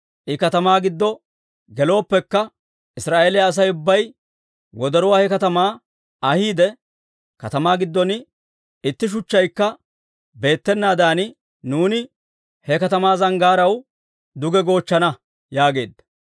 I katamaa giddo gelooppekka, Israa'eeliyaa Asay ubbay wodoruwaa he katamaa ahiide, katamaa giddon itti shuchchaykka beettenaadan nuuni he katamaa zanggaaraw duge goochchana» yaageedda.